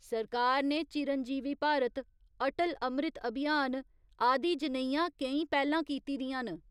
सरकार ने चिरंजीवी भारत, अटल अमृत अभियान आदि जनेहियां केईं पैह्‌लां कीती दियां न।